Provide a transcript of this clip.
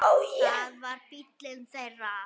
Það var bíllinn þeirra.